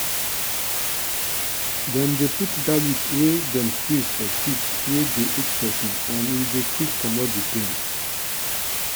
dem dey put garlic wey dem squeeze for teeth wey dey ache peson and e dey quick comot di pain.